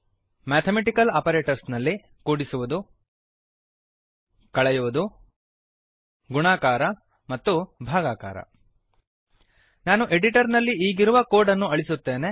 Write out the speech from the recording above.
mathematical operators ನಲ್ಲಿ ಕೂಡಿಸುವುದು ಕಳೆಯುವುದು ಗುಣಾಕಾರ ಮತ್ತು ಭಾಗಾಕಾರ ನಾನು ಎಡಿಟರ್ ನಲ್ಲಿ ಈಗಿರುವ ಕೋಡ್ ಅನ್ನು ಅಳಿಸುತ್ತೇನೆ